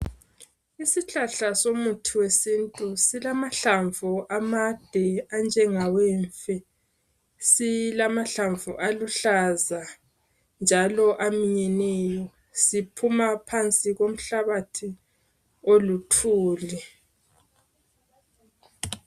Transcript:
Isihlahla somuthi wesintu silamahlamvu amade anjengawemfe, silamahlamvu aluhlaza njalo aminyeneyo siphuma phansi komhlabathi oluthuli.